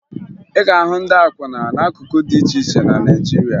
Ị ga-ahụ ndị akwụna n'akụkụ dị iche iche na Naịjirịa